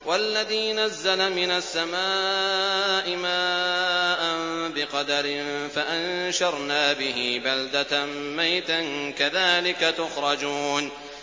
وَالَّذِي نَزَّلَ مِنَ السَّمَاءِ مَاءً بِقَدَرٍ فَأَنشَرْنَا بِهِ بَلْدَةً مَّيْتًا ۚ كَذَٰلِكَ تُخْرَجُونَ